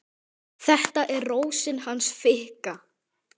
Þetta er Rósin hans Fikka.